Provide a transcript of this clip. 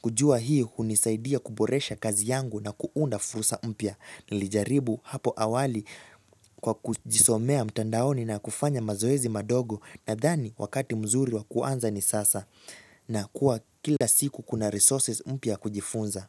kujua hii hunisaidia kuboresha kazi yangu na kuunda fursa mpya. Nilijaribu hapo awali kwa kujisomea mtandaoni na kufanya mazoezi madogo. Nadhani wakati mzuri wa kuanza ni sasa na kuwa kila siku kuna resources mpya ya kujifunza.